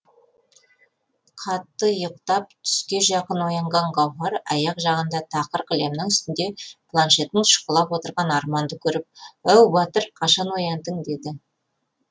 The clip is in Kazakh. қатты ұйықтап түске жақын оянған гауһар аяқ жағында тақыр кілемнің үстінде планшетін шұқылап отырған арманды көріп оу батыр қашан ояндың деді